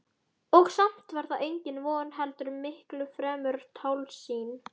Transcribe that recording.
Og samt var það engin von heldur miklu fremur tálsýn.